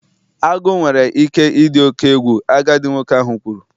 Agu nwere ike ịdị oke egwu, agadi nwoke ahụ kwuru